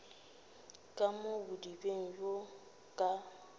ka mo bodibeng bjo ka